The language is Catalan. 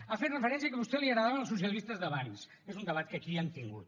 ha fet referència que a vostè li agradaven els socialistes d’abans és un debat que aquí ja hem tingut